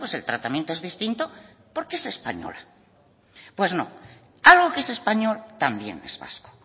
el tratamiento es distinto porque es española pues no algo que es español también es vasco